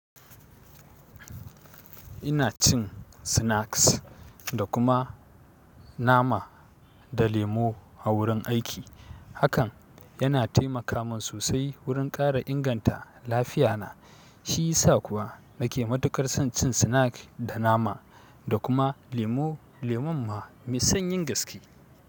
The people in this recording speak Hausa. Ina cin snacks da kuma nama da lemo a wurin aiki. Hakan yana taimaka min sosai wurin ƙara inganta lafiya na. Shi ya sa kuwa nake matuƙar son cin snack da nama da kuma lemo. Lemon ma mai sanyin gaske.